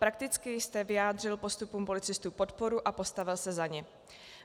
Prakticky jste vyjádřil postupům policistů podporu a postavil se za ně.